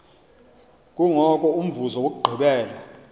kungoko umvuzo wokugqibela